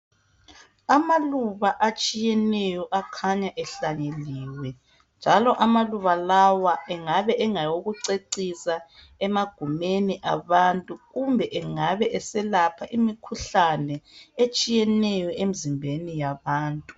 amaluba atshiyeneyo akhanya ehalanyeliwe njalo amaluba lawa engabe angawokucecisa emagumeni abantu kumbe engabe eselapha imikhuhlane etshiyeneyo emzimbeni yabantu